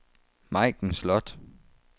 Majken Slot